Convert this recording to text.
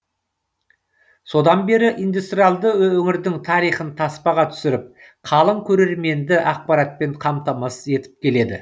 содан бері индустриалды өңірдің тарихын таспаға түсіріп қалың көрерменді ақпаратпен қамтамасыз етіп келеді